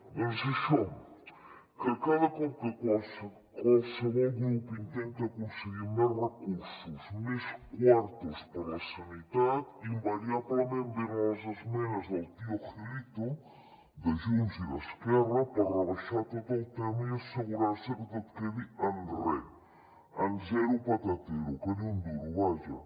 doncs això que cada cop que qualsevol grup intenta aconseguir més recursos més quartos per la sanitat invariablement venen les esmenes del tío gilito de junts i d’esquerra per rebaixar tot el tema i assegurar se que tot quedi en re en zero patatero que ni un duro vaja